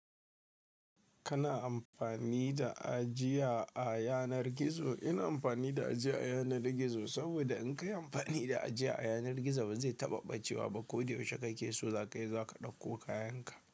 Kana amfani da ajiya a yanar gizo. Ina amfani da ajiya a yanar gizo saboda in ka yi amfani da ajiya a yanar gizo ba zai taɓa ɓacewa ba. Ko da yaushe kake so zaka yi, zaka ɗauko kayanka.